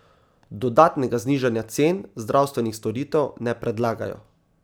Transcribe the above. Dodatnega znižanja cen zdravstvenih storitev ne predlagajo.